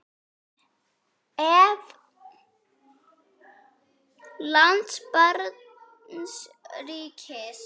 Ef. lands barns ríkis